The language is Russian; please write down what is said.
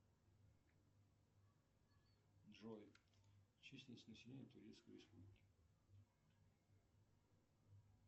джой численность населения турецкой республики